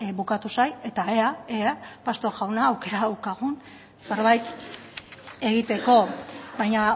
bukatu zait eta ea ea pastor jauna aukera daukagun zerbait egiteko baina